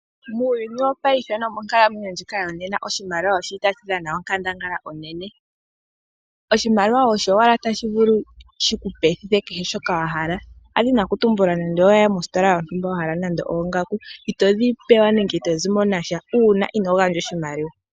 Muuyuni wopaife nomonkalamwenyo ndjika yonena oshimaliwa oshili tashi dhana onkandangala onene. Oshimaliwa osho owala tashi vulu shiku pethitha kehe shoka wa hala. Ndadhini oku tumbula nando oweya mositola yontumba wahala nande oongaku, itodhi pewa nenge ito zimo nasha omanga inoogandja oshimaliwa.